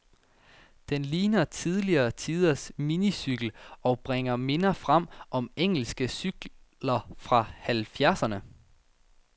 Den ligner tidligere tiders minicykel, og bringer minder frem om engelske cykler fra halvfjerdserne.